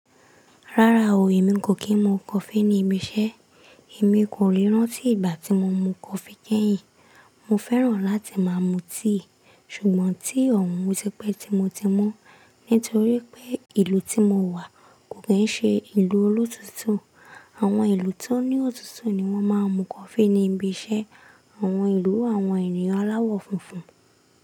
Rárá o, èmi kò kí n mu coffee ní ibi iṣẹ́. Èmi kò le rán tí ìgbà tí mo mu coffee kẹ́yìn. Mo fẹ́ràn láti máa mu tea ṣùgbọ́n tea ọ̀un o ti pẹ́ tí mo ti mu nítorí pé ìlú tí mo wà kò kí n ṣe ìlú olóòtútù. Àwọn ìlú tó ní òtútù ni wọ́n máa n mu coffee ní ibi iṣẹ́. Àwọn ìlú àwọn ènìyàn aláwọ̀ funfun.